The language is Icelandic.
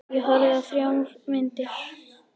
Ég horfði á þrjár myndir.